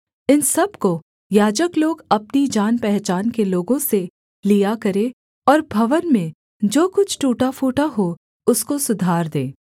इन सब को याजक लोग अपनी जानपहचान के लोगों से लिया करें और भवन में जो कुछ टूटा फूटा हो उसको सुधार दें